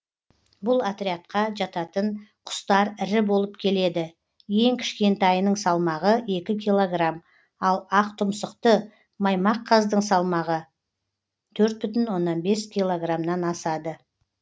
бұл отрядқа жататын құстар ірі болып келеді ең кішкентайының салмағы екі килограмм ал ақтұмсықты маймаққаздың салмағы төрт бүтңн оннан бес килограмнан асады